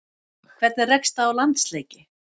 Hvernig rekst það á landsleiki?